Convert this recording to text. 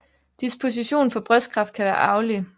Disposition for brystkræft kan være arvelig